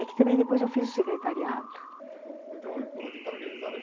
É que também depois eu fiz o secretariado